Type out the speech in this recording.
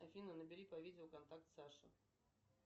афина набери по видео контакт саша